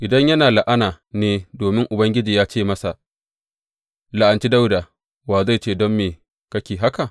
Idan yana la’ana ne domin Ubangiji ya ce masa, La’anci Dawuda,’ wa zai ce, Don me kake haka?’